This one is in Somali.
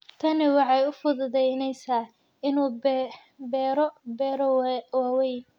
Tani waxay u fududaynaysaa inuu beero beero waaweyn.